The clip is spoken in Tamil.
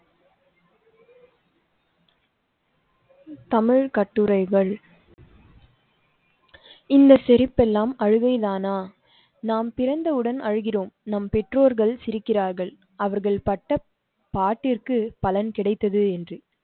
தமிழ் கட்டுரைகள் இந்த சிரிப்பெல்லாம் அழுகை தானா? நாம் பிறந்தவுடன் அழுகிறோம் நம் பெற்றோர்கள் சிரிக்கிறார்கள். அவர்கள் பட்ட பாட்டிற்கு பலன் கிடைத்தது என்று